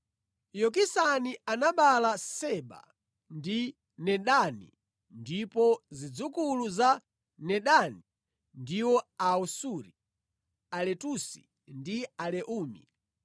Yokisani anabereka Seba ndi Dedani ndipo zidzukulu za Dedani ndiwo Aasuri, Aletusi, ndi Aleumi.